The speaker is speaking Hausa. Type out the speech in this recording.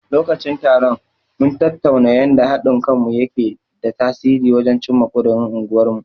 Lokacin taron, mun tattauna yanda haɗin kanmu yake da tasiri wajen cimma ƙudirin unguwarmu.